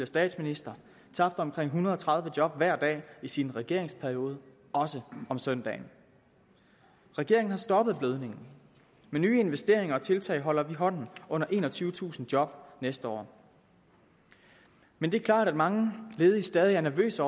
statsminister tabte omkring en hundrede og tredive job hver dag i sin regeringsperiode også om søndagen regeringen har stoppet blødningen med nye investeringer og tiltag holder vi hånden under enogtyvetusind job næste år men det er klart at mange ledige stadig er nervøse